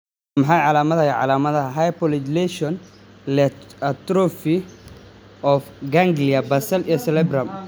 Waa maxay calaamadaha iyo calaamadaha Hypomyelination leh atrophy of ganglia basal iyo cerebellum?